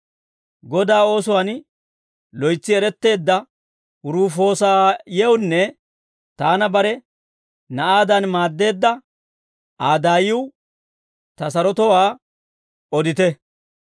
Godaa oosuwaan loytsi eretteedda Rufoosayewunne taana bare na'aadan maaddeedda Aa daayiw ta sarotowaa odite.